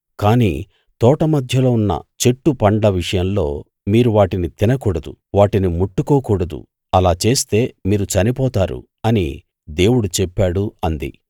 కానీ తోట మధ్యలో ఉన్న చెట్టు పండ్ల విషయంలో మీరు వాటిని తినకూడదు వాటిని ముట్టుకోకూడదు అలా చేస్తే మీరు చనిపోతారు అని దేవుడు చెప్పాడు అంది